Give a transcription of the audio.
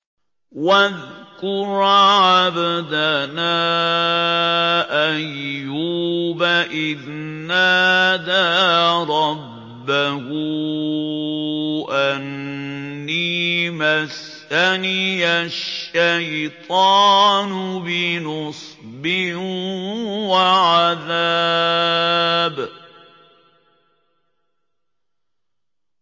وَاذْكُرْ عَبْدَنَا أَيُّوبَ إِذْ نَادَىٰ رَبَّهُ أَنِّي مَسَّنِيَ الشَّيْطَانُ بِنُصْبٍ وَعَذَابٍ